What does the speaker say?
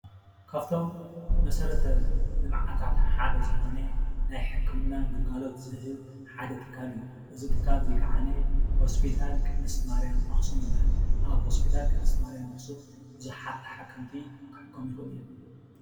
ካፍቶም መሰረተ ልማዓታት ሓደ ዝኾነ ናይ ሕክምና ግልጋሎት ዝህብ ሓደ ትካል እዩ:: እዚ ትካል እዚ ከዓነ ሆስፒታል ቅድስቲ ማርያም ኣክሱም ይብሃል። ኣብ ሆስፒታል ቅድስቲ ማርያም ኣክሱም ብዛሓት ተሓከምቲ ክሕከሙ ይኽእሉ እዮም።